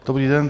Dobrý den.